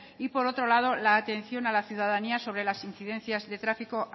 y por otro lado la atención a la ciudadanía sobre las incidencias de tráfico